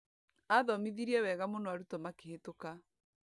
Athomithirie wega mũno arutwo makĩhĩtũka.